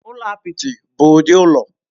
Ụlọ apịtị bụ ụdị ụlọ.